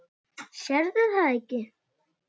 Sérðu það ekki?